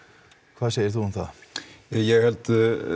hvað segir þú um það ég held